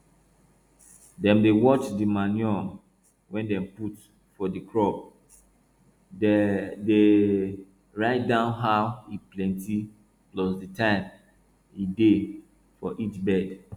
dem dey watch di manure wey dem put for di crop dey dey write down how e plenti plus di time e dey for each bed